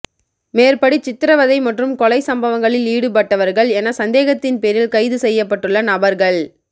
மேற்படி சித்திரவதை மற்றும் கொலை சம்பவங்களில் ஈடுபட்டவர்கள் என சந்தேகத்தின் பேரில் கைது செய்யப்பட்டுள்ள நபர்கள்